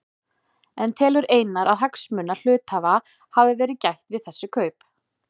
En telur Einar að hagsmuna hluthafa hafi verið gætt við þessi kaup?